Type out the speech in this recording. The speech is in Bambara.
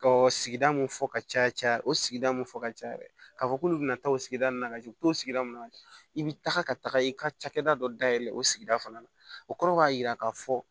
Ka sigida mun fɔ ka caya caya o sigida mun fɔ ka caya ka fɔ k'olu bɛna taa o sigida ninnu na ka jigin u bɛ t'o sigida nun i bɛ taga ka taga i ka cakɛda dɔ dayɛlɛ o sigida fana na o kɔrɔ b'a jira k'a fɔ